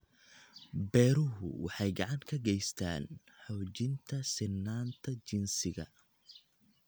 Beeruhu waxay gacan ka geystaan ??xoojinta sinnaanta jinsiga.